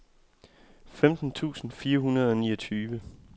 femten tusind fire hundrede og niogtyve